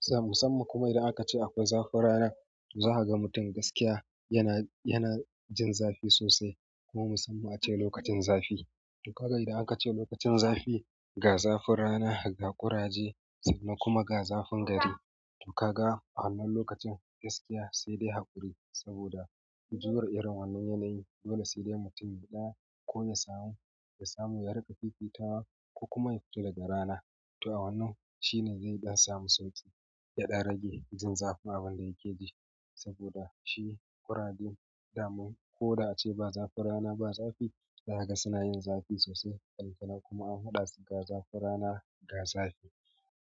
Za musamman kuma idan aka ce akwai zafin rana, za a ga mutum gaskiya yana, yana jin zafi sosai kuma musamman ace lokacin zafi. To kaga idan aka ce lokacin zafi, ga zafin rana, ga ƙuraje sannan kuma ga zafin gari. To ka ga a wannan lokacin gaskiya sai dai haƙuri saboda jure irin wannan yanayi, dole sai dai mutum ya ɗa ko ya samu, ya samu ya riƙa fifitawa ko kuma ya fito daga rana. To a wannan shine zai ɗan samu sauƙi, ya ɗan rage jin zafin abin da yake ji saboda shi ƙurajen daman ko da ace ba zafin rana ba zafi, za ka ga suna yin zafi sosai. Ballantana kuma an haɗu da su ga zafin rana ga zafi.